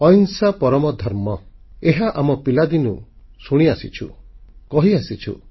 ଅହିଂସା ପରମୋ ଧର୍ମଃ ଏହା ଆମେ ପିଲାଦିନୁ ଶୁଣିଆସିଛୁ କହିଆସିଛୁ